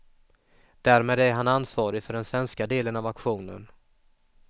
Därmed är han ansvarig för den svenska delen av aktionen.